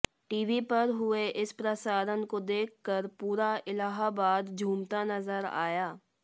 TV पर हुये इस प्रसारण को देखकर पूरा इलाहाबाद झूमता नजर आया